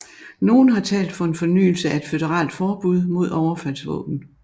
Nogle har talt for en fornyelse af et føderalt forbud mod overfaldsvåben